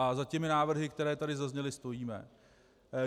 A za těmi návrhy, které tady zazněly, stojíme.